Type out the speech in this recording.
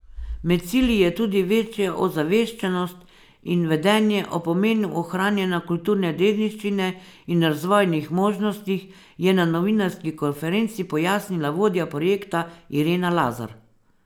Med cilji je tudi večja ozaveščenost in vedenje o pomenu ohranjanja kulturne dediščine in razvojnih možnostih, je na novinarski konferenci pojasnila vodja projekta Irena Lazar.